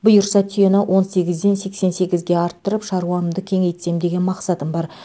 бұйырса түйені он сегізден сексен сегізге арттырып шаруамды кеңейтсем деген мақсатым бар